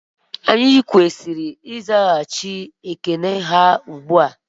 Anyị kwesịrị ịzaghachị ekele ha ugbua